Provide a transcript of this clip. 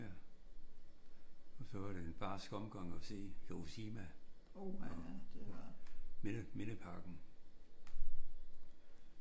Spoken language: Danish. Ja. Og så var det en barsk omgang at se Hiroshima og mindeparken